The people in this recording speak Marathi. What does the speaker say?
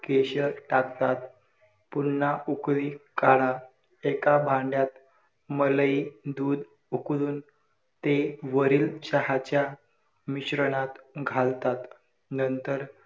आयुर्वेद practical मध्ये सार परीक्षण.